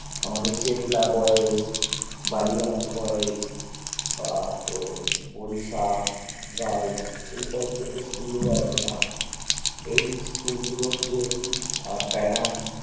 আমাদের boys Ballygunge boys বা তোর বড়িশা বা ওই এই types যে school গুলো আছে না এই school গুলোর যে আহ pattern